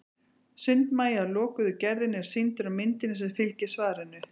sundmagi af lokuðu gerðinni er sýndur á myndinni sem fylgir svarinu